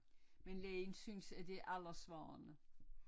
Men lægen synes at det er alderssvarende